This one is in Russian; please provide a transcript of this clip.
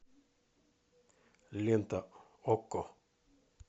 лента окко